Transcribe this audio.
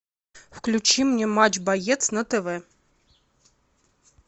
включи мне матч боец на тв